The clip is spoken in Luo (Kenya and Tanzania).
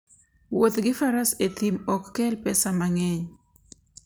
Wuoth gi Faras e thim ok kel pesa mang'eny.